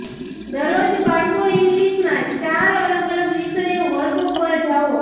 દરરોજ બાળકો ઇંગલિશ માં ચાર અલગ અલગ વિષયો વર્ગો પર જાઓ